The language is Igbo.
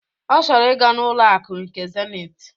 Ọ chọrọ ị ga n'ụlọ akụ nke Zenit